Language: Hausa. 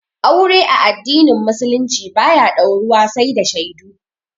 Aure a addinin musulunci ba ya dauruwa sai da shaidu